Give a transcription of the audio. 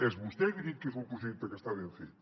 és vostè qui ha dit que és un projecte que està ben fet